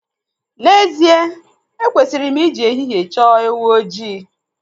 N'ezie ekwesịrị m ị ji ehihie chọọ ewu ojii.